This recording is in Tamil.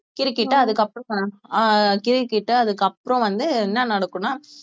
கிறுக்கிட்டு அதுக்கப்புறம் அஹ் கிறுக்கிட்டு அதுக்கு அப்புறம் வந்து என்ன நடக்கும்னா